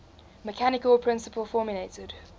mechanical principle formulated